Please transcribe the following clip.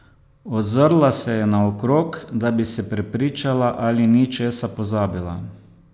Ozrla se je naokrog, da bi se prepričala, ali ni česa pozabila.